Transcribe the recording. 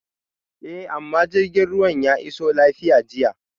Eh mai jirgin ruwa ya iso lafiya jiya